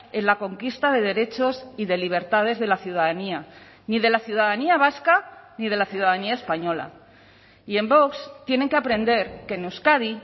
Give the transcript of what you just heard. en la conquista de derechos y de libertades de la ciudadanía ni de la ciudadanía vasca ni de la ciudadanía española y en vox tienen que aprender que en euskadi